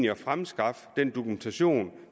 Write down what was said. at fremskaffe den dokumentation